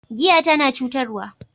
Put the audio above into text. Giya tana cutarwa.